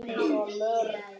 Takið af hitanum og kælið.